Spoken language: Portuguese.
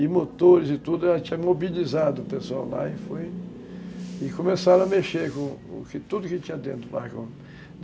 E motores e tudo, ela tinha mobilizado o pessoal lá e foi... e começaram a mexer com tudo que tinha dentro do barracão